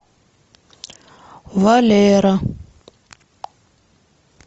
валера